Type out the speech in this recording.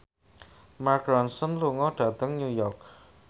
Mark Ronson lunga dhateng New York